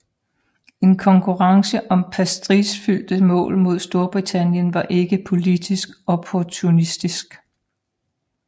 En konkurrence om prestigefyldte mål med Storbritannien var ikke politisk opportunistisk